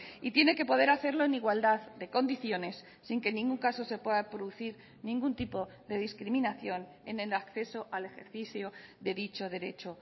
y tiene que poder hacerlo en igualdad de condiciones sin que en ningún caso se pueda producir ningún tipo de discriminación en el acceso al ejercicio de dicho derecho